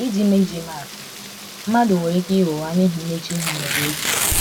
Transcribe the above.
iji ma iji ma atụ, mmadụ nwere ike ịgha ụgha n’ihi mmechuihu ma ọ bụ egwu.